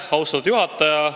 Austatud juhataja!